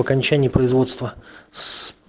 окончание производства с